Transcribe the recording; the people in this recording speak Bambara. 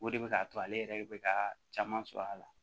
O de bɛ k'a to ale yɛrɛ bɛ ka caman sɔrɔ a la